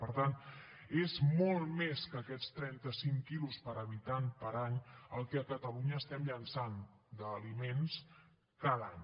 per tant és molt més que aquests trentacinc quilos per habitant per any el que a catalunya estem llençant d’aliments cada any